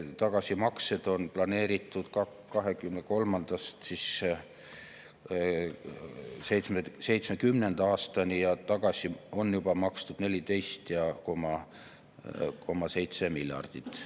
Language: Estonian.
Tagasimaksed on planeeritud 2023.–2070. aastani ja tagasi on juba makstud 14,7 miljardit.